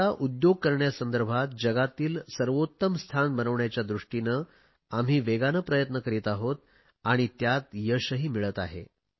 भारताला उद्योग करण्यासंदर्भात जगातील सर्वोत्तम स्थान बनविण्याच्या दृष्टीने वेगाने प्रयत्न करीत आहोत आणि त्यात यशही मिळते आहे